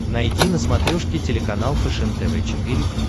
найди на смотрешке телеканал фэшен тв четыре к